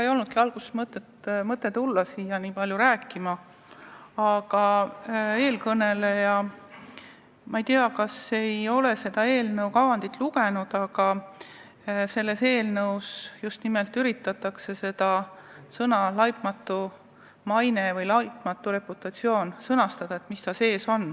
Ega mul ei olnudki plaani tulla siia rääkima, aga eelkõneleja, ma ei tea, kas ei ole seda eelnõu kavandit lugenud või mis, aga ta ei tea, et selles eelnõus just nimelt üritatakse mõistet "laitmatu maine" või "laitmatu reputatsioon" sisustada.